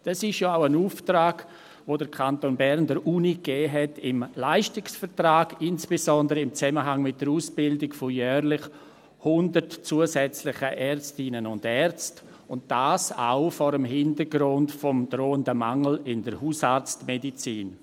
Das ist auch ein Auftrag, den der Kanton Bern der Uni im Leistungsvertrag gegeben hat, insbesondere im Zusammenhang mit der Ausbildung von jährlich 100 zusätzlichen Ärztinnen und Ärzten, und dies auch vor dem Hintergrund des drohenden Mangels in der Hausarztmedizin.